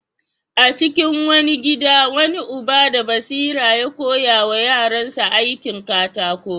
A cikin wani gida, wani uba da basira ya koya wa yaransa aikin katako.